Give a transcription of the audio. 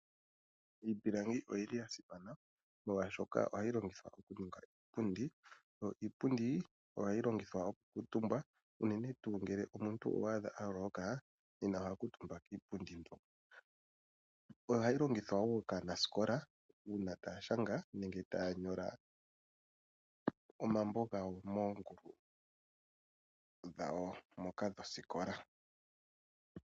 iipilangi oya simana molwashoka ohayi longithwa okuninga iipundi. Iipundi ohayi longithwa okukuutumba unene tuu ngele omuntu owa adha a loloka oha kuutumba kiipundi mbyoka. Ohayi longithwa wo kaanasikola uuna taya shanga momambo gawo moongulu dhosikola.